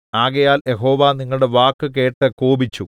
ആകയാൽ യഹോവ നിങ്ങളുടെ വാക്ക് കേട്ട് കോപിച്ചു